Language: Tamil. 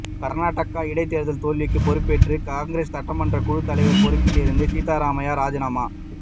கர்நாடக இடைத்தேர்தல் தோல்விக்கு பொறுப்பேற்று காங்கிரஸ் சட்டமன்ற குழுத்தலைவர் பொறுப்பில் இருந்து சித்தராமையா ராஜினாமா